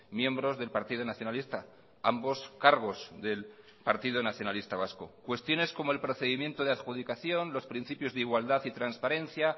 miembros del partido nacionalista ambos cargos del partido nacionalista vasco cuestiones como el procedimiento de adjudicación los principios de igualdad y transparencia